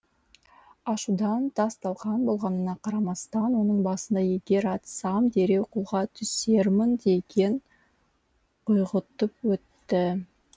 ашудан тас талқан болғанына қарамастан оның басында егер атсам дереу қолға түсермін деген ой құйғытып өтті